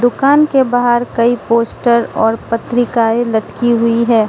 दुकान के बाहर कई पोस्टर और पत्रिकाएं लटकी हुई हैं।